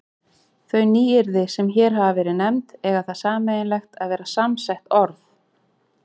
Þau nýyrði, sem hér hafa verið nefnd, eiga það sameiginlegt að vera samsett orð.